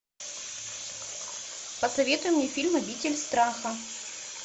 посоветуй мне фильм обитель страха